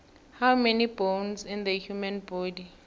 how many bones in the human body